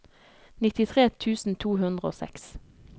nittitre tusen to hundre og seks